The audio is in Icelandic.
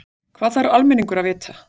Hvað þarf almenningur að vita?